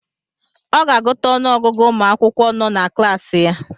Ọ ga-agụta ọnụ ọgụgụ ụmụ akwụkwọ nọ na klaasị ya